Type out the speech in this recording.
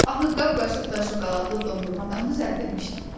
Axı qab-qaşıq da şokoladlı dondurmadan düzəldilmişdi.